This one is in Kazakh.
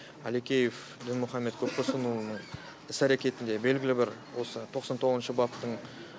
әлекеев дінмұхамед көпбосынұлының іс әрекетінде белгілі бір осы тоқсан тоғызыншы баптың